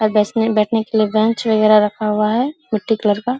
और बेस में बैठने के लिए बेंच वगैरा रखा हुआ है मिट्टी कलर का।